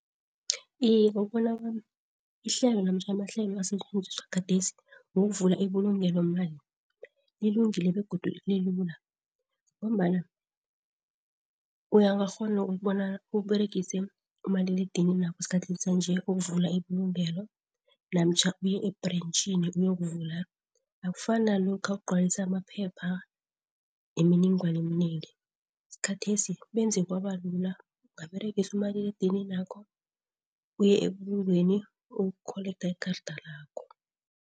Iye, ngokubona kwami ihlelo namtjha amahlelo asetjenziswa gadesi wokuvula ibulungelomali lilungile begodu lilula. Ngombana ungakghona ukubona ukuberegise umaliledininapho esikhathini sanje ukuvula ibulungelo, namtjha uye e-branchini uyokuvula. Akufani nalokha ukugcwalisa amaphepha nemininingwana eminengi, sikhathesi benze kwabalula. Ungaberegisa umaliledininakho, uyebulungweni ukuyokukholektha ikarada lakho.